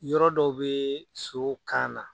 Yɔrɔ dɔ bɛ so kan na.